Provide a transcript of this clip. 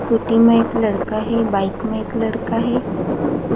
Scooty म एक लड़का हे बाइक म एक लड़का हे।